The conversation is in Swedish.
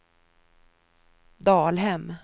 Dalhem